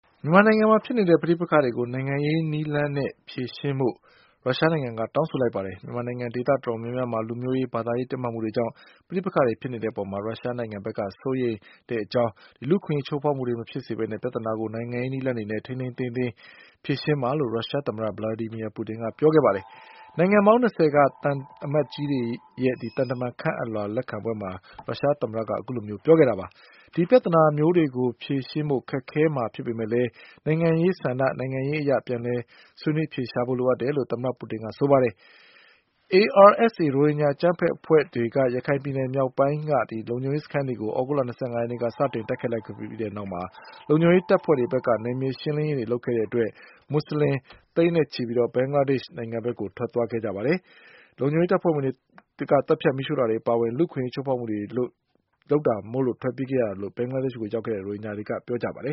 မြန်မာနိုင်ငံမှာဖြစ်နေတဲ့ ပဋိပက္ခတွေကို နိုင်ငံရေးနည်းလမ်းနဲ့ ဖြေရှင်းဖို့ ရုရှားနိုင်ငံက တောင်းဆိုလိုက်ပါတယ်။ မြန်မာနိုင်ငံ ဒေသတော်တော် များများမှာ လူမျိုးရေး ဘာသာရေး တင်းမာမှုကြောင့် ပဋိပက္ခဖြစ်တဲ့အပေါ် ရုရှားနိုင်ငံက စိုးရိမ်ကြောင်းနဲ့ လူ့အခွင့်အရေး ချိုးဖောက်မှုတွေ မဖြစ်စေဘဲ ပြဿနာကို နိုင်ငံရေး နည်းလမ်းတွေနဲ့ ထိန်းထိန်းသိမ်းသိမ်း ဖြေရှင်းပါလို့ ရုရှသမ္မတ Vladimir Putin က ပြောကြားခဲ့ပါတယ်။ နိုင်ငံပေါင်း ၂၀ က သံအမတ်ကြီးတွေရဲ့ သံအမတ်ခန့်အပ်လွှာ လက်ခံပွဲမှာ ရုရှား သမ္မတက အခုလို ပြောကြားခဲ့တာ ဖြစ်ပါတယ်။ ဒီလိုပြဿနာမျိုးကို ဖြေရှင်းဖို့ ခက်ခဲမှာ ဖြစ်ပေမဲ့ နိုင်ငံရေးဆန္ဒ၊ နိုင်ငံရေးအရ အပြန်အလှန်ဆွေးနွေး အဖြေရှာဖို့လိုအပ်တယ်လို့ သမ္မတ Putin က ဆိုပါတယ်။ ARSA ရိုဟင်ဂျာ အကြမ်းဖက် အဖွဲ့တွေက ရခိုင်ပြည်နယ် မြောက်ပိုင်းက လုံခြုံရေး စခန်းတွေကို သြဂုတ်လ ၂၅ ရက်နေ့က စတင် တိုက်ခိုက်ခဲ့ပြီးနောက် လုံခြုံရေး တပ်ဖွဲ့တွေဖက်က နယ်မြေရှင်းလင်းရေး လုပ်ခဲ့တဲ့အတွက် မွတ်ဆလင် သိန်းနဲ့ချီ ဘင်္ဂလားဒေ့ရှ် နိုင်ငံဖက် ထွက်သွားခဲ့ကြပါတယ်။ လုံခြုံရေးတပ်ဖွဲ့ဝင်တွေက သတ်ဖြတ် မီးရှို့တာတွေ အပါအဝင် လူ့အခွင့်အရေး ချိုးဖောက်တဲ့အတွက် ထွက်ပြေးရတာလို့ ဘင်္ဂလားဒေ့ရှ် နိုင်ငံဘက် ရောက်သွားတဲ့ ရိုဟင်ဂျာတွေက ပြောကြပါတယ